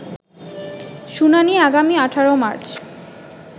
শুনানি আগামী ১৮ মার্চ